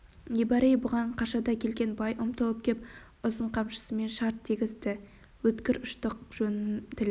не бар ей бұған қашада келген бай ұмтылып кеп ұзын қамшысымен шарт дегізді өткір ұштық жонын тіліп